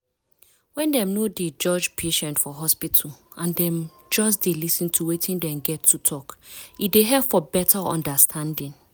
when dem no dey judge patient for hospital and dem just dey lis ten to wetin dem get to talk e dey help for beta understanding.